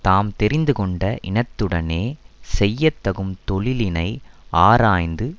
தாம் தெரிந்துகொண்ட இனத்துடனே செய்ய தகும் தொழிலினை ஆராய்ந்து